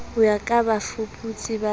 ho ya ka bafuputsi ba